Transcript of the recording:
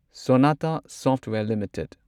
Sonata software limited